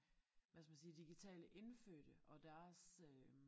Hvad skal man sige digitale indfødte og deres øh